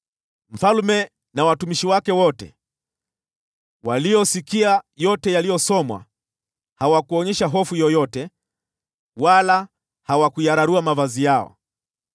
Mfalme na watumishi wake wote waliosikia yote yaliyosomwa hawakuonyesha hofu yoyote, wala hawakuyararua mavazi yao.